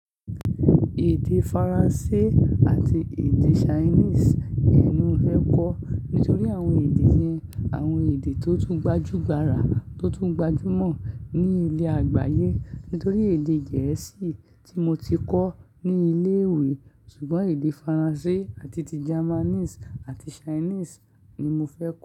Èdè Faransé àti èdè Chinese ni mo fẹ́ kọ́. Nítorí àwọn èdè yẹn, àwọn èdè tó tún gbajúgbara, tó tún gbajúmọ̀ ní ilé àgbáyé. Nítorí èdè Gẹ̀ẹ́sì tí mo ti kọ́ ní ilé ìwé ṣùgbọ́n èdè Faransé àti ti Japanese àti Chinese ni mofẹ́ kọ́.